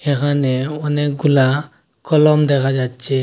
এখানে অনেকগুলা কলম দেখা যাচ্ছে।